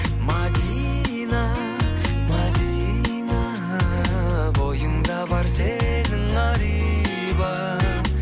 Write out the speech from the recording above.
мәдина мәдина бойыңда бар сенің ар иба